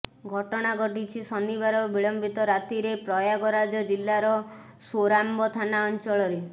ଘଟଣା ଘଟିଛି ଶନିବାର ବିଳମ୍ବିତ ରାତିରେ ପ୍ରୟାଗରାଜ ଜିଲ୍ଲାର ସୋରାମ୍ବ ଥାନା ଅଞ୍ଚଳରେ